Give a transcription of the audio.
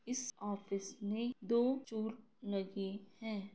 इस ऑफिस में दो स्टूल लगे है।